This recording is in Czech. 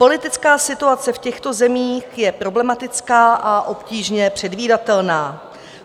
Politická situace v těchto zemích je problematická a obtížně předvídatelná.